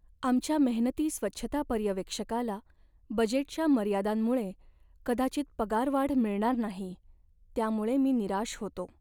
आमच्या मेहनती स्वच्छता पर्यवेक्षकाला बजेटच्या मर्यादांमुळे कदाचित पगारवाढ मिळणार नाही, त्यामुळे मी निराश होतो.